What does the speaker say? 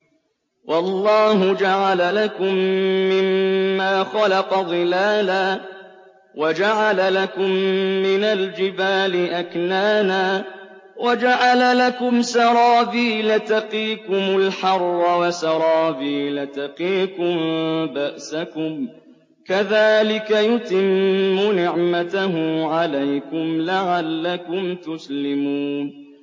وَاللَّهُ جَعَلَ لَكُم مِّمَّا خَلَقَ ظِلَالًا وَجَعَلَ لَكُم مِّنَ الْجِبَالِ أَكْنَانًا وَجَعَلَ لَكُمْ سَرَابِيلَ تَقِيكُمُ الْحَرَّ وَسَرَابِيلَ تَقِيكُم بَأْسَكُمْ ۚ كَذَٰلِكَ يُتِمُّ نِعْمَتَهُ عَلَيْكُمْ لَعَلَّكُمْ تُسْلِمُونَ